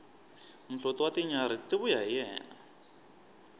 muhloti wa tinyarhi ti vuya hi yena